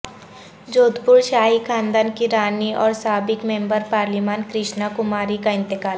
جودھپور شاہی خاندان کی رانی اور سابق ممبر پارلیمان کرشنا کماری کا انتقال